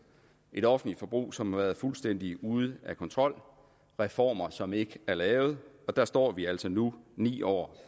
et offentligt forbrug som har været fuldstændig ude af kontrol reformer som ikke er lavet der står vi altså nu ni år